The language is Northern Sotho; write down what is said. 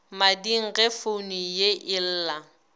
mading ge founu ye ella